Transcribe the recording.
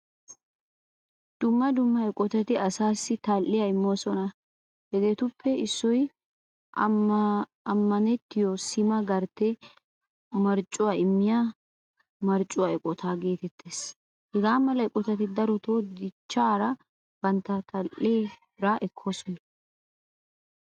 Dumma dumma eqqotatti asaassi tal'iyaa immoosona. Hagettuppe issoy ammanettiyo sima gartte marccuwaa immiya marccuwaa eqqottat getettees. Hagaamala eqqotati darotto dichchaara bantta tal'ee bira ekkosona.